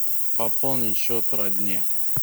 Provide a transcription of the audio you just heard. пополнить счет родне